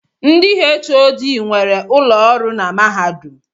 Ndị HOD nwere ụlọ ọrụ na mahadum.